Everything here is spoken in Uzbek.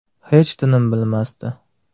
Hech tinim bilmasdi.